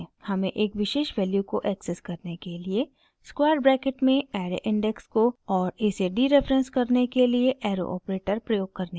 हमें एक विशेष वैल्यू को एक्सेस करने के लिए स्क्वायर ब्रैकेट में ऐरे इंडेक्स को और इसे डीरेफरेंस करने के लिए एरो ऑपरेटर > प्रयोग करने की ज़रुरत है